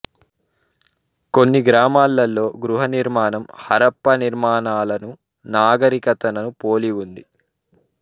కొన్ని గ్రామాలలో గృహ నిర్మాణం హరప్పా నిర్మాణాలను నాగరికతను పోలి ఉంది